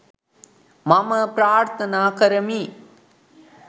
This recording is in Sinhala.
මම ප්‍රාර්ථනා කරමි.